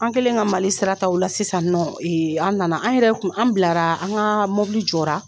An kɛlen ka Mali sira ta o la sisan nɔ, an nana an yɛrɛ kun, an bilara, an ka mɔbili jɔra,